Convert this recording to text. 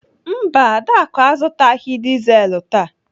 Mba, Adaku azụtaghị dizelu taa.